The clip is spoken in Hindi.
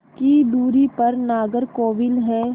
की दूरी पर नागरकोविल है